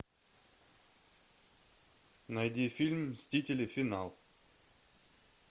найди фильм мстители финал